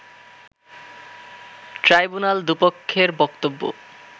tribunal দু’পক্ষের বক্তব্য